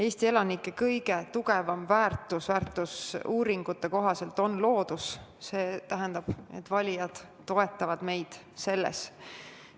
Eesti elanike silmis kõige suurem väärtus on väärtusuuringute kohaselt loodus ja see tähendab, et valijad toetavad meid selles.